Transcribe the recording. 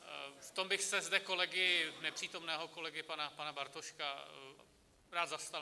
V tom bych se zde kolegy, nepřítomného kolegy pana Bartoška, rád zastal.